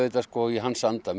í hans anda